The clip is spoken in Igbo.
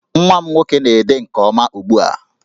Nwa m nwoke na-ede nke ọma ugbu a